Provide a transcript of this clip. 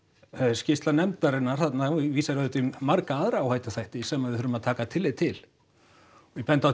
skýrsla nefndarinnar þarna vísar auðvitað í marga aðra áhættuþætti sem við þurfum að taka tillit til og ég bendi á